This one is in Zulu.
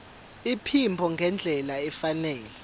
iphimbo ngendlela efanele